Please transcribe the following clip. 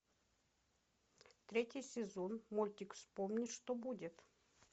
третий сезон мультик вспомни что будет